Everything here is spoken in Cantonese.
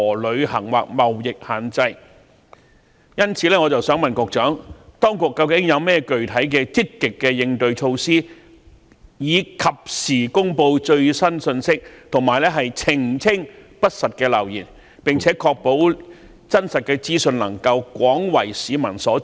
因此，請問局長，當局有甚麼具體的積極應對措施，藉以及時公布最新信息，以及澄清不實流言，並且確保真實資訊能夠廣為市民所知呢？